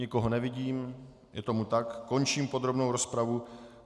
Nikoho nevidím, je tomu tak, končím podrobnou rozpravu.